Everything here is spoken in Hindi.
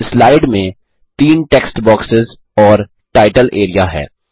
अब स्लाइड में तीन टेक्स्ट बॉक्सेस और टाइटल एरिया हैं